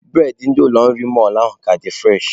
Bụredị ndị ụlọ nri mọlụ ahụ ka dị fụreshị.